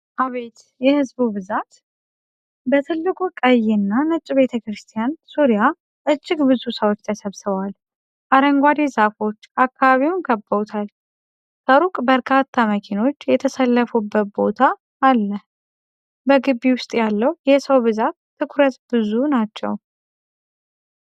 አቤት የህዝቡ ብዛት! በትልቁ ቀይና ነጭ ቤተክርስቲያን ዙሪያ እጅግ ብዙ ሰዎች ተሰብሰበዋል። አረንጓዴ ዛፎች አካባቢውን ከበውታል፤ ከሩቅ በርካታ መኪኖች የተሰለፉበት ቦታ አለ። በግቢው ውስጥ ያለው የሰው ብዛት ትኩረት ብዙ ናቸው ።